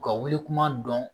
U ka wuli kuma dɔn